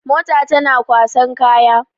Mota tana kwasan kaya.